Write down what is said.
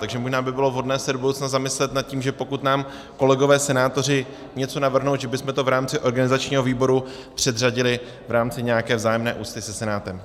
Takže možná by bylo vhodné se do budoucna zamyslet nad tím, že pokud nám kolegové senátoři něco navrhnou, že bychom to v rámci organizačního výboru předřadili v rámci nějaké vzájemné úcty se Senátem.